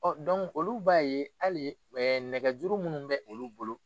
Ɔ dɔnku olu b'a ye ali ɛɛ nɛgɛjuru minnu bɛ olu bolo